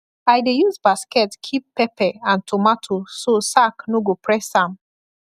i dey use basket keep pepper and tomato so sack no go press am